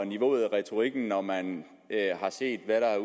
niveauet og retorikken når man har set hvad der